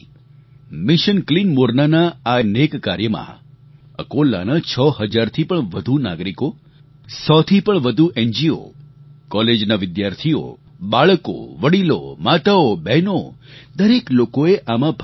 mission clean Morna ના આ નેક કાર્યમાં અકોલાના છ હજારથી પણ વધુ નાગરિકો સો થી પણ વધુ એનજીઓ કોલેજના વિદ્યાર્થીઓ બાળકો વડીલો માતાઓબહેનો દરેક લોકોએ આમાં ભાગ લીધો